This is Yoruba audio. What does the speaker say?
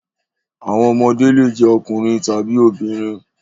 Àwọn ọmọdé le jẹ́ ọkùnrin tàbí obìnrin.